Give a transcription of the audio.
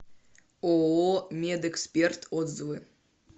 ооо медэксперт отзывы